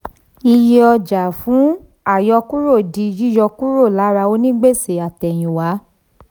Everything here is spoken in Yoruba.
iye ọjàfún ìyọkúrò di yíyọ kúrò lára onígbèsè àtẹ̀yìnwá.